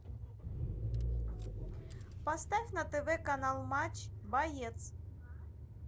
поставь на тв канал матч боец